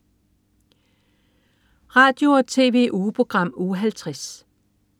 Radio- og TV-ugeprogram Uge 50